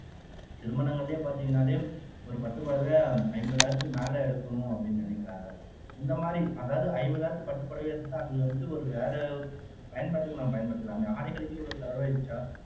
திருமணங்களிலே பாத்தீங்கன்னாலே ஒரு பட்டுப் புடவை ஐம்பதாயிரத்துக்கு மேலே எடுக்கணும் அப்படின்னு நினைக்கிறாங்க இந்த மாதிரி அதாவது ஐம்பதாயிரத்துக்கு பட்டுப் புடவை எடுத்துட்டா அது வந்துட்டு ஒரு வேற பயன்பாட்டுக்கு நாம பயன்படுத்தலாமே ஆடைகளுக்கு இவ்வளவு செலவழிச்சா